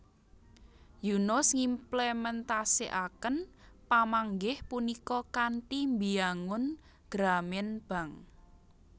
Yunus ngimplementasikaken pamanggih punika kanthi mbiyangun Grameen Bank